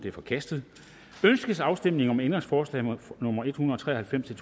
er forkastet ønskes afstemning om ændringsforslag nummer en hundrede og tre og halvfems til